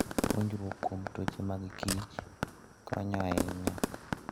Puonjruok kuom tuoche magkich konyo ahinya.